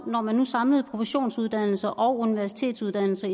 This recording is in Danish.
når man nu samlede professionsuddannelser og universitetsuddannelser